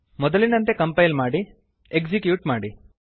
ಮೊದಲಿನಂತೆ ಕಂಪೈಲ್ ಮಾಡಿ ಎಕ್ಸಿಕ್ಯೂಟ್ ಮಾಡಿ